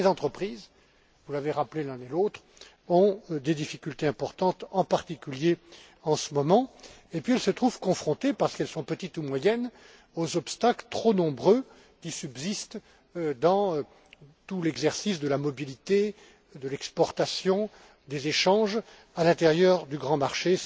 Mais ces entreprises vous l'avez rappelé l'un et l'autre ont des difficultés importantes, en particulier en ce moment, et elles se trouvent confrontées, parce qu'elles sont petites et moyennes, aux obstacles trop nombreux qui subsistent dans l'exercice de la mobilité de l'exportation et des échanges à l'intérieur du grand marché.